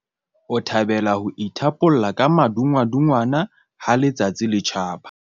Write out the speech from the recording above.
o thabela ho ithapolla ka madungwadungwana ha letsatsi le tjhaba